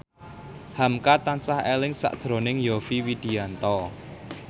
hamka tansah eling sakjroning Yovie Widianto